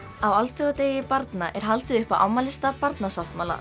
alþjóðadegi barna er haldið upp á afmælisdag Barnasáttmála